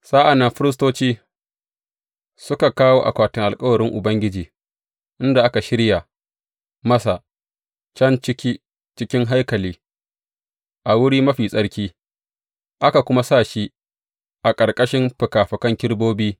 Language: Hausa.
Sa’an nan firistoci suka kawo akwatin alkawarin Ubangiji inda aka shirya masa, can ciki cikin haikali, a Wuri Mafi Tsarki, aka kuma sa shi a ƙarƙashin fikafikan kerubobin.